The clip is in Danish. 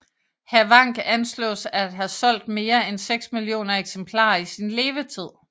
Havank anslås at have solgt mere end 6 millioner eksemplarer i sin levetid